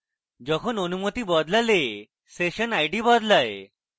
যখন অনুমতি বদলালে session id বদলায়